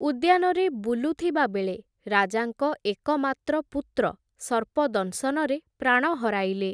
ଉଦ୍ୟାନରେ ବୁଲୁଥିବା ବେଳେ ରାଜାଙ୍କ ଏକମାତ୍ର ପୁତ୍ର ସର୍ପଦଂଶନରେ ପ୍ରାଣ ହରାଇଲେ ।